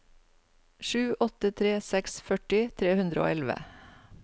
sju åtte tre seks førti tre hundre og elleve